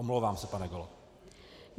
Omlouvám se, pane kolego.